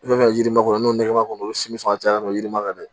I bɛ fɛ yirimakɔnɔ n'o nɛgɛma kɔnɔ olu si bɛ sɔn ka caya dɔrɔn i ma kan dɛ